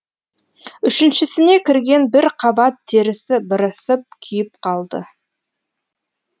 үшіншісіне кіргенде бір қабат терісі бырысып күйіпқалды